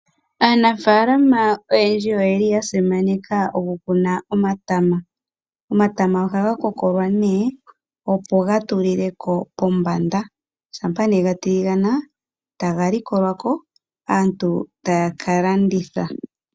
Aanafaalama oyendji oyeli ya simaneka oku kuna omatama, omatama ohaga kokolwa nee opo gaatulileko pombanda, shampa nee gatiligana taga likolwa ko aantu taya ka landitha.